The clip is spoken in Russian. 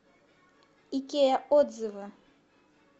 икеа отзывы